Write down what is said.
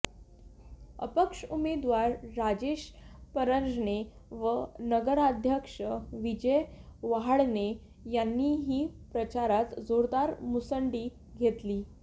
अपक्ष उमेदवार राजेश परजणे व नगराध्यक्ष विजय वहाडणे यांनीही प्रचारात जोरदार मुसंडी घेतली